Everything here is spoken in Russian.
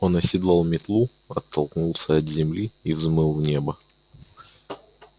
он оседлал метлу оттолкнулся от земли и взмыл в небо